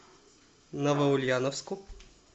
новоульяновску